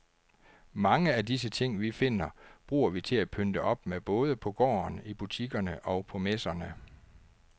Mange af disse ting, vi finder, bruger vi til at pynte op med både på gården, i butikkerne og på messerne.